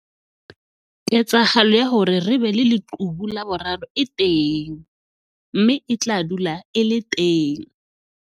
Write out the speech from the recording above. Ketsahalo ya hore re be le leqhubu la boraro e teng mme e tla dula e le teng.